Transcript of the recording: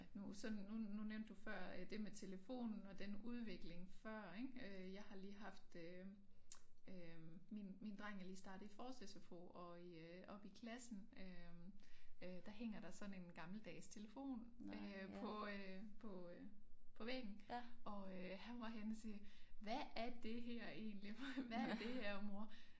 Nu sådan nu nu nævnte du før øh det med telefonen og den udvikling før ik øh jeg har lige haft øh øh min min dreng er lige startet i forårs SFO og i øh oppe i klassen øh øh der hænger der sådan en gammeldags telefon øh på øh på øh på væggen og øh han var henne og sige hvad er det her egentlig hvad er det her mor øh